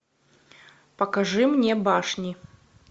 покажи мне башни